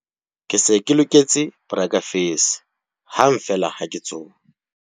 Ke se ke loketse borakefese hang feela ha ke tsoha.